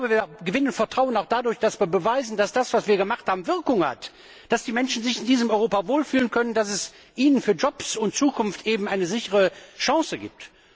Wir gewinnen Vertrauen auch dadurch, dass wir beweisen, dass das, was wir gemacht haben, Wirkung hat, dass die Menschen sich in diesem Europa wohlfühlen können, dass es für Jobs und Zukunft eine sichere Chance gibt.